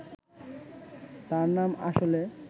তার নাম, আসলে